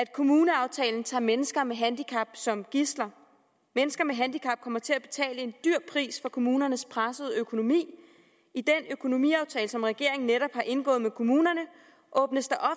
kommuneaftalen tager mennesker med handicap som gidsler mennesker med handicap kommer til at betale en dyr pris for kommunernes pressede økonomi i den økonomiaftale som regeringen netop har indgået med kommunerne åbnes der